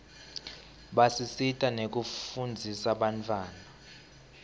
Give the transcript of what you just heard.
basisita nekufundzisa bantfwana